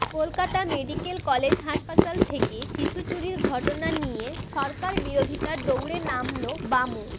Kolkata medical college হাসপাতাল থেকে শিশু চুরির ঘটনা নিয়ে সরকার বিরোধিতার দৌড়ে নামল বাম ও